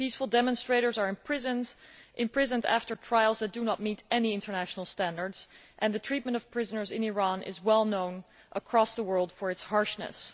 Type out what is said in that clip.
Peaceful demonstrators are imprisoned after trials which do not meet any international standards, and the treatment of prisoners in Iran is well known across the world for its harshness.